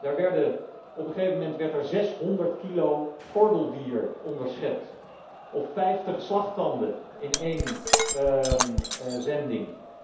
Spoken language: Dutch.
Daar werden op een gegeven moment 600 kilo gordeldier onderschept, of vijftig slagtanden in één zending.